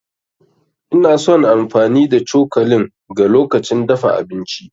Ina son amfani da cokalin ga lokacin dafa abinci.